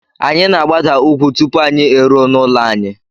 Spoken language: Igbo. Anyị na-agbada ugwú tupu anyị eruo n'ụlọ anyị.